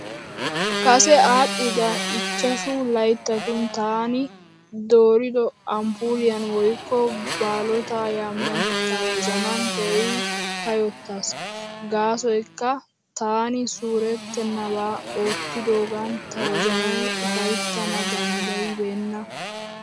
Kase aadhdhida ichchashu layittatun taani doorido amppuuliyan woyikko baalotaa yamiyan ta wozanan keehippe kayyottaas. Gaasoyikka taani suurettennabaa oottidoogan ta wozanay ufayittana daniddayibeenna.